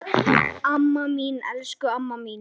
Amma mín, elsku amma mín.